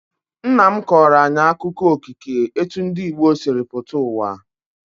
Nna m kọrọ anyị akụkọ okike etu ndị Igbo sịrị pụta uwa